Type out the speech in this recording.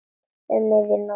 Um miðja nótt.